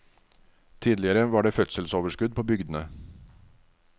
Tidligere var det fødselsoverskudd på bygdene.